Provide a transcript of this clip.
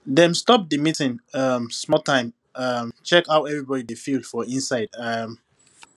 dem stop the meeting um small time um check how everybody dey feel for inside um